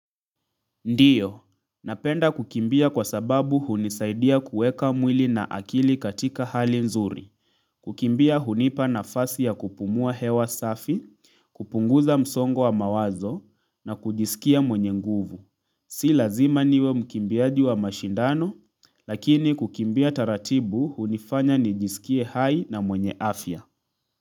Ndiyo, napenda kukimbia kwa sababu hunisaidia kuweka mwili na akili katika hali mzuri. Kukimbia hunipa nafasi ya kupumua hewa safi, kupunguza msongo wa mawazo na kujisikia mwenye nguvu. Si lazima niwe mkimbiaji wa mashindano, lakini kukimbia taratibu hunifanya nijisikie hai na mwenye afya.